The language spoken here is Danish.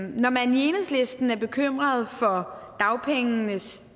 når man i enhedslisten er bekymret for dagpengenes